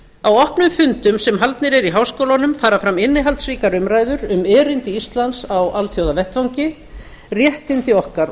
á opnum fundum sem haldnir eru í háskólunum fara fram innihaldsríkar umræður um erindi íslands á alþjóðavettvang réttindi okkar